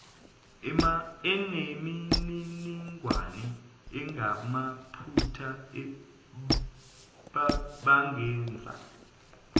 anemininingwane engamaphutha bangenza